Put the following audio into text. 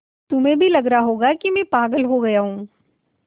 तुम्हें भी लग रहा होगा कि मैं पागल हो गया हूँ